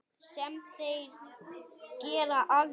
Sem þeir gera aldrei!